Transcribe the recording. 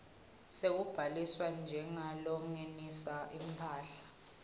sekubhaliswa njengalongenisa imphahla